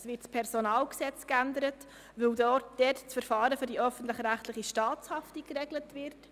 Das PG wird einerseits geändert, da dort das Verfahren für die öffentlich-rechtliche Staatshaftung geregelt wird.